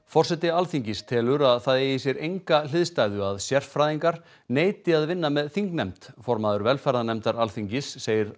forseti Alþingis telur að það eigi sér enga hliðstæðu að sérfræðingar neiti að vinna með þingnefnd formaður velferðarnefndar Alþingis segir